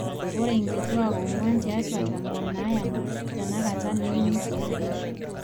ore inkituak ong'wan tiatwa tomon naayama tenakata neyieu neibooyo eishoi